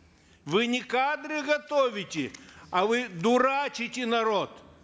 вы не кадры готовите а вы дурачите народ